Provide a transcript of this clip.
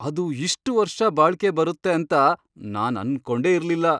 ಅದು ಇಷ್ಟ್ ವರ್ಷ ಬಾಳ್ಕೆ ಬರತ್ತೆ ಅಂತ ನಾನ್ ಅನ್ಕೊಂಡೆ ಇರ್ಲಿಲ್ಲ.